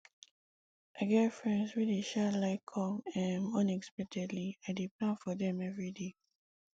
i get friends wey dey um like come um unexpectedly i dey plan for dem everyday